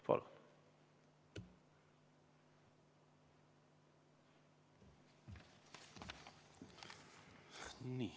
Palun!